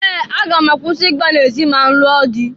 Ee! Aga m akwụsi igba n'ezi ma nlụọ dị.